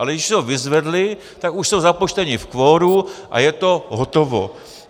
Ale když si ho vyzvedli, tak už jsou započteni v kvoru a je to hotovo.